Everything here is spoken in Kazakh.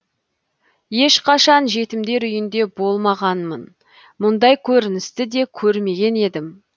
ешқашан жетімдер үйінде болмағанмын мұндай көріністі де көрмеген едім